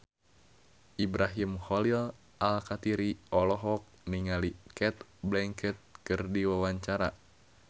Ibrahim Khalil Alkatiri olohok ningali Cate Blanchett keur diwawancara